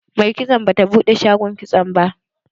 Mai kitson bata buɗe shagon kitson ba.